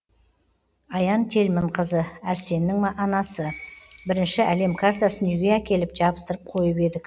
аян тельманқызы әрсеннің анасы бірінші әлем картасын үйге әкеліп жабыстырып қойып едік